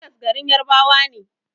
Legas garin Yarabawa ne